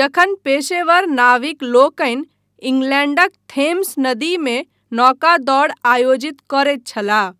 जखन पेशेवर नाविक लोकनि इंग्लैण्डक थेम्स नदीमे पर नौका दौड़ आयोजित करैत छलाह।